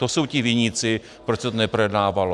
To jsou ti viníci, proč se to neprojednávalo.